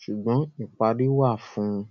sugbon ìparí wà fún ùn